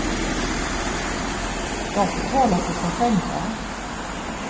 De får tala för sig själva.